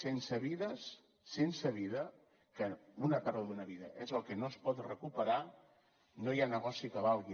sense vides sense vida que una pèrdua d’una vida és el que no es pot recuperar no hi ha negoci que valgui